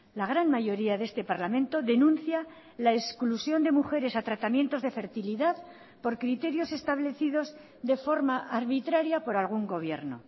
la gran mayoría de este parlamento denuncia la exclusión de mujeres a tratamientos de fertilidad por criterios establecidos de forma arbitraria por algún gobierno